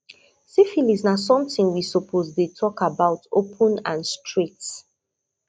syphilis na something we suppose dey talk about open and straight